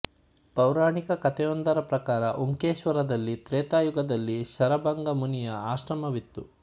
ಪೌರಾಣಿಕ ಕಥೆಯೊಂದರ ಪ್ರಕಾರ ಉಂಕೇಶ್ವರದಲ್ಲಿ ತ್ರೇತಾಯುಗದಲ್ಲಿ ಶರಭಂಗ ಮುನಿಯ ಆಶ್ರಮವಿತ್ತು